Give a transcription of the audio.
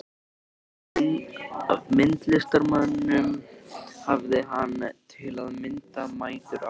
Af myndlistarmönnum hafði hann, til að mynda, mætur á